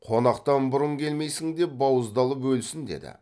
қонақтан бұрын келмейсің деп бауыздалып өлсін деді